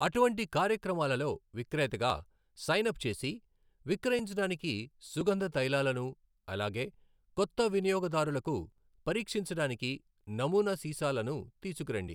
అటువంటి కార్యక్రమాలలో విక్రేతగా సైన్ అప్ చేసి విక్రయించడానికి సుగంధ తైలాలను, అలాగే కొత్త వినియోగదారులకు పరీక్షించడానికి నమూనా సీసాలను తీసుకురండి.